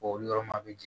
Olu yɔrɔ ma a bi jigin